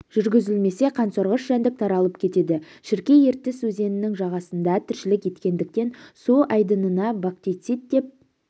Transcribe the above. жүргізілмесе қансорғыш жәндік таралып кетеді шіркей ертіс өзенінің жағасында тіршілік ететіндіктен су айдынына бактицит деп